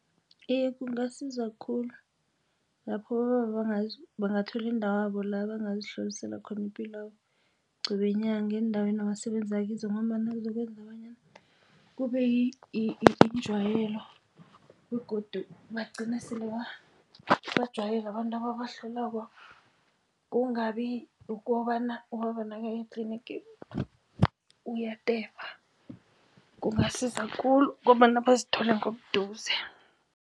Iye, kungasiza khulu lapho abobaba bangathola indawabo la bangazihlolisela khona ipilwabo qobe yinyanga eendaweni abasebenza kizo ngombana kuzokwenza bonyana kube yinjwayelo begodu bagcine sele bajwayele abantu ababahlolako kungabi ukobana ubaba nakayetlinigi uyatefa, kungasiza khulu ngombana bazithole ngobuduze.